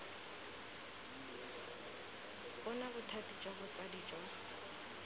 bona bothati jwa botsadi jwa